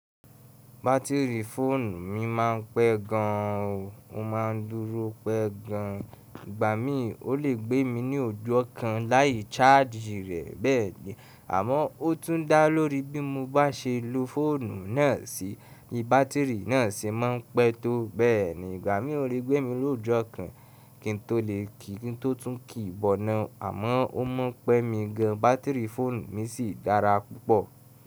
Bátìrì fóònù mi máa ń pẹ́ gan an o, ó má a dúró pẹ́ gan an. Ìgbà mí, ó lè gbé mi ní òjò ọ̀kan láì chargii rẹ̀ bẹ́ẹ̀ni. Àmọ́, ó tún dá lórí bí mo bá ṣe lo fóònù náà sì, bí bátìrì náà ṣe máa ń pẹ́ tó bẹ́ẹ̀ni. Ìgbà mí ó lè gbé mi lóòjọ̀ kan kí n tó lè kí n tó tún kì í bọ̀nà, àmọ́ ó mọ́ pẹ́ mi gan an. Bátìrì fóònù mi sì dára púpọ̀.